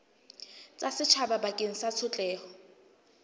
tsa setjhaba bakeng sa tshotleho